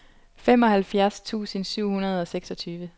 femoghalvfjerds tusind syv hundrede og seksogtyve